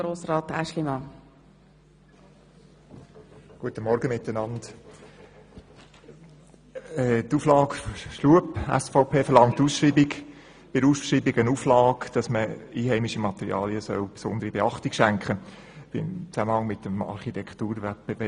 Der Antrag Schlup verlangt als Auflage bei der Ausschreibung, dass im Zusammenhang mit dem Architekturwettbewerb der Verwendung einheimischer Materialien besondere Beachtung geschenkt wird.